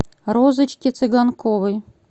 розочке цыганковой